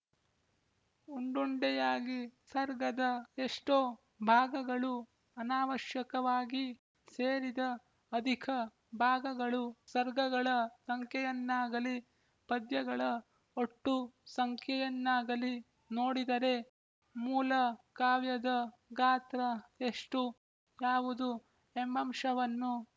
ಉಂಡುಂಡೆಯಾಗಿ ಸರ್ಗದ ಎಷ್ಟೋ ಭಾಗಗಳು ಅನಾವಶ್ಯಕವಾಗಿ ಸೇರಿದ ಅಧಿಕ ಭಾಗಗಳು ಸರ್ಗಗಳ ಸಂಖ್ಯೆಯನ್ನಾಗಲಿ ಪದ್ಯಗಳ ಒಟ್ಟು ಸಂಖ್ಯೆಯನ್ನಾಗಲಿ ನೋಡಿದರೆ ಮೂಲ ಕಾವ್ಯದ ಗಾತ್ರ ಎಷ್ಟು ಯಾವುದು ಎಂಬಂಶವನ್ನು